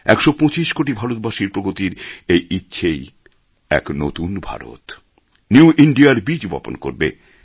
একশো পঁচিশ কোটি ভারতবাসীর প্রগতির এই ইচ্ছেই এক নতুন ভারত নিউ ইন্দিয়া র বীজ বপণ করবে